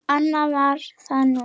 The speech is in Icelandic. Annað var það nú ekki.